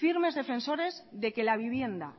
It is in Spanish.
firmes defensores de que la vivienda